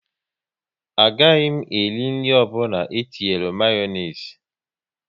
A gaghị m eri nri ọbụla etinyere Mayonezi